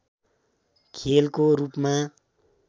खेलको रूपमा